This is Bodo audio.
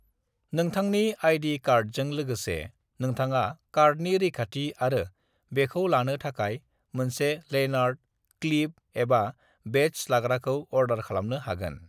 "नोंथांनि आई.डी. कार्डजों लोगोसे, नोंथाङा कार्डनि रैखाथि आरो बेखौ लानो थाखाय मोनसे लैनार्ड, क्लिप एबा बेड्ज लाग्राखौ अर्डार खालामनो हागोन।"